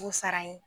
K'u sara ye